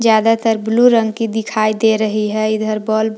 ज्यादातर ब्लू रंग की दिखाई दे रही है इधर बल्ब ।